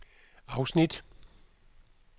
afsnit